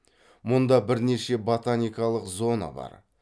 мұнда бірнеше ботаникалық зона бар